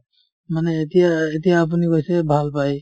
মানে এতিয়া এতিয়া আপুনি কৈছে ভাল পাই